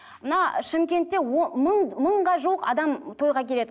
мына шымкентте мың мыңға жуық адам тойға келеді